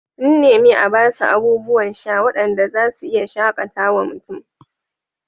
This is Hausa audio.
Sun nemi a ba su abubuwan sha waɗanda za su iya shaƙatawa mutum